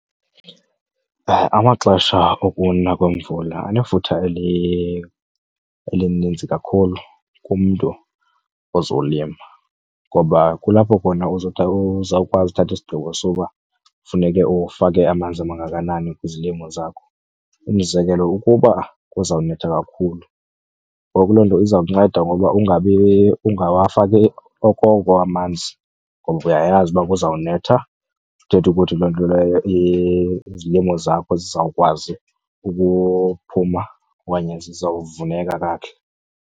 Amaxesha okuna kwemvula anefuthe elininzi kakhulu kumntu ozolima ngoba kulapho khona uzawukwazi uthatha isigqibo soba funeke ufake amanzi amangakanani kwizilimo zakho. Umzekelo, ukuba kuzawunetha kakhulu ngoku loo nto iza kunceda ngoba ungabi, ungawufaki okoko amanzi ngoba uyayazi uba kuzawunetha. Ithethe ukuthi loo nto leyo izilimo zakho zizawukwazi ukuphuma okanye zizawuvuneka kakuhle.